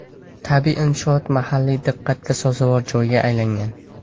Tabiiy inshoot mahalliy diqqatga sazovor joyga aylangan.